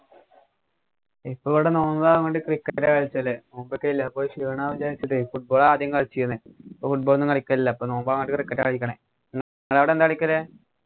ഇപ്പൊ ഇവിടെ നോമ്പനു പറഞ്ഞിട്ട് cricket റ്റാ കളിച്ചല്ലേ നോമ്പൊക്കെ അല്ലെ അപ്പൊ ക്ഷീണാവില്ലെ വെച്ചിട്ടെ football ആദ്യം കളിച്ചിരിന്നെ. ഇപ്പൊ football ഒന്നും കളിക്കലില്ല. ഇപ്പൊ നോമ്പാന്നു പറഞ്ഞിട്ട് cricket കളിക്കണേ. നിങ്ങടെ അവിടെ എന്താ കളിക്കല്?